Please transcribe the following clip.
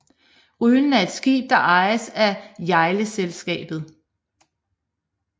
Rylen er et skib der ejes af Hjejleselskabet